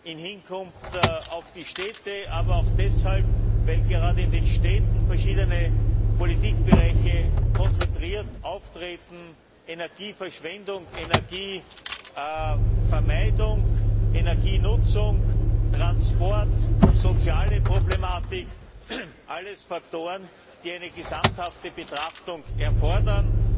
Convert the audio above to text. im Hinblick auf die Städte, aber auch deshalb, weil gerade in den Städten verschiedene Politikbereiche konzentriert auftreten Energieverschwendung, Energievermeidung, Energienutzung, Transport, soziale Problematik alles Faktoren, die eine gesamthafte Betrachtung erfordern.